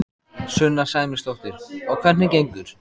Sunna Sæmundsdóttir: Og hvernig gengur?